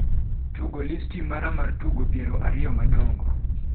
tugo listi mara mar tugo piero ariyo madongo